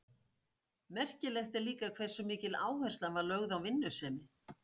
Merkilegt er líka hversu mikil áhersla var lögð á vinnusemi.